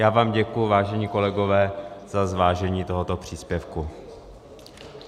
Já vám děkuji, vážení kolegové, za zvážení tohoto příspěvku.